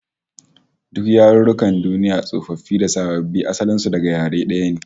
Duk yarukan duniya tsofaffi da sababbi, asalin su daga yare daya ne